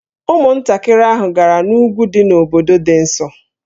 Ụmụntakịrị ahụ gara n'úgwú dị n'obodo dị nso